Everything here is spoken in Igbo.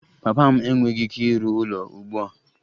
Papa m enweghị ike ịrụ ụlọ ugbu a